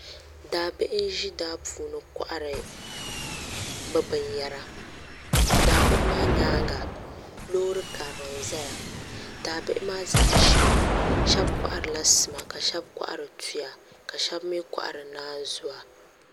Daabihi n ʒi daa puuni kohari bi binyɛa daa bihi maa nyaanga loori karili n ʒɛya daa bihi maa zaa ʒimi shab koharila sima ka shab kohari tuya ka shab mii kohari naanzuwa